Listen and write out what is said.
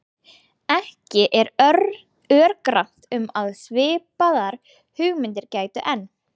Ekki er örgrannt um að svipaðra hugmynda gæti enn.